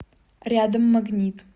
рядом магнит